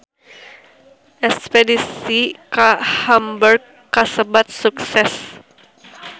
Espedisi ka Hamburg kasebat sukses